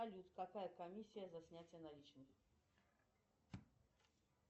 салют какая комиссия за снятие наличных